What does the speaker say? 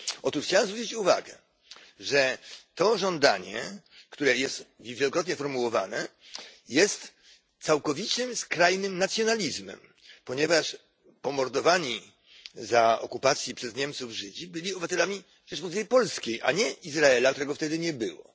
Otóż ja chciałbym zwrócić uwagę, że to żądanie, które jest wielokrotnie formułowane, jest całkowicie skrajnym nacjonalizmem, ponieważ pomordowani za okupacji przez Niemców Żydzi byli obywatelami Rzeczypospolitej Polskiej, a nie Izraela, którego wtedy nie było.